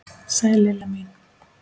Sæl Lilla mín!